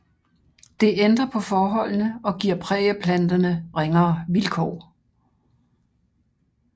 Det ændrer på forholdene og giver prærieplanterne ringere vilkår